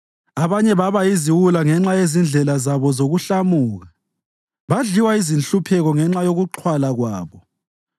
Abanye baba yiziwula ngenxa yezindlela zabo zokuhlamuka badliwa yizinhlupheko ngenxa yokuxhwala kwabo.